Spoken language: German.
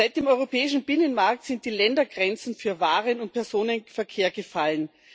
Seit dem europäischen Binnenmarkt sind die Ländergrenzen für Waren und Personenverkehr gefallen.